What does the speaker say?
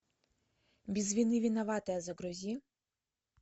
без вины виноватая загрузи